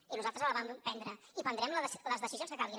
i nosaltres la vam prendre i prendrem les decisions que calguin